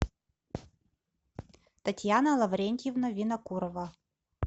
татьяна лаврентьевна винокурова